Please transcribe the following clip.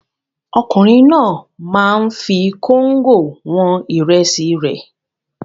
Ọkùnrin náà máa ń fi kóńgò wọn ìrẹsì rẹ̀.